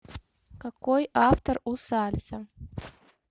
какой автор у сальса